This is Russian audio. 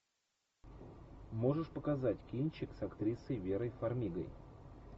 можешь показать кинчик с актрисой верой фармигой